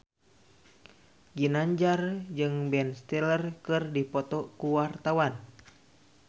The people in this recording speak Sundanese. Ginanjar jeung Ben Stiller keur dipoto ku wartawan